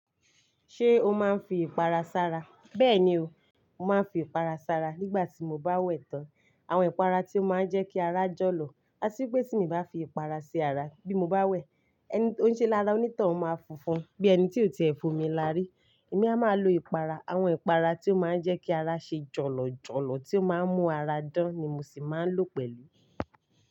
Ṣé o máa ń fi ìpara sára? Bẹ́ẹ̀ni o, mo máa ń fi ìpara sára nígbà tí mo bá wẹ̀ tán. Àwọn ìpara tí ó máa ń jẹ́ kí ara jọ̀lọ̀. A sì ń pè tí ẹnì bá fi ìpara ṣe ara bí mo bá wẹ̀, ẹni tó ń ṣe lára onítàn máa funfun bí ẹni tí ò tiẹ̀ f'omi lárí. Èmi a máa lo ìpara, àwọn ìpara tí ó máa ń jẹ́ kí ara ṣe jọ̀lọ̀ jọ̀lọ̀ tí ó máa ń mú ara dán ni mo sì máa ń lò pẹ̀lú.